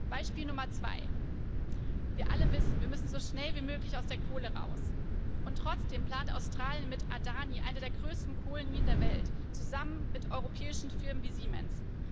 Beispiel Nummer 2 Wir alle wissen, wir müssen so schnell wie möglich aus der Kohle heraus, und trotzdem plant Australien mit Adani eine der größten Kohleminen der Welt zusammen mit europäischen Firmen wie Siemens.